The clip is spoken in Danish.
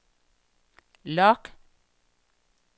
log